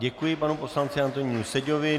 Děkuji panu poslanci Antonínu Seďovi.